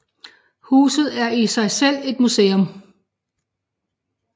Huset er i sig selv et museum